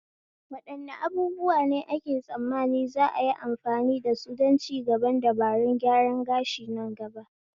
Wadanne abubuwa ne ake tsammani za'a yi amfani dasu don cigaban dabarun gyaran gashi nan gaba?